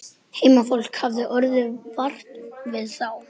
Heimafólk hafði orðið vart við þá.